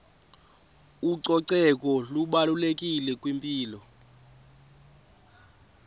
ucoceko lubalulekile kwimpilo